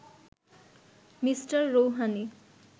Mr Rouhani